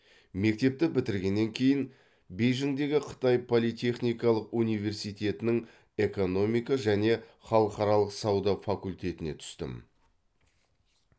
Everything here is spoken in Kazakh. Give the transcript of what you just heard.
мектепті бітіргеннен кейін бейжіңдегі қытай политехникалық университетінің экономика және халықаралық сауда факультетіне түстім